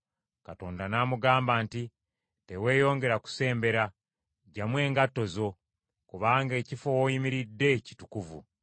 Katonda n’amugamba nti, “Teweeyongera kusembera. Ggyamu engatto zo, kubanga ekifo w’oyimiridde kitukuvu.”